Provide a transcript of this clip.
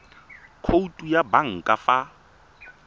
khoutu ya banka fa ba